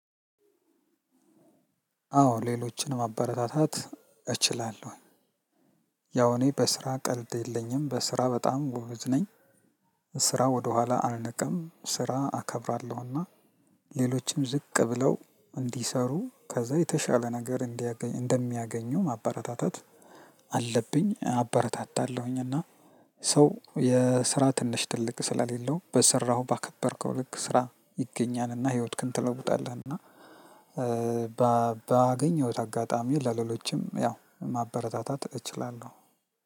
አዎ ሌሎችንም ማበረታታት እችላለሁኝ። ያው እኔ በስራ ቀልድ የለኝም በስራ በጣም ጎበዝ ነኝ። ስራ ወደኋላ አልንቅም ስራ አከብራለሁና ሌሎችም ዝቅ ብለው እንዲሰሩ ከዛ የተሻለ ነገር እንዲያገኝ እንደሚያገኙ ማበረታታት አለብኝ አበረታታለሁኝ እና ሰው የስራ ትንሽ ትልቅ ስለሌለው በሰራሁ ባከበርከው ልክ ስራ ይገኛልና ህይወትክን ትለውጣለህና በ ባገኘሁት አጋጣሚ ለሌሎችም ያው ማበረታታት እችላለሁ።